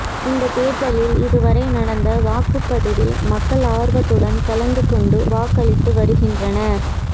இந்த தேர்தலில் இது வரை நடந்த வாக்குப்பதிவில் மக்கள் ஆர்வத்துடன் கலந்து கொண்டு வாக்களித்து வருகின்றனர்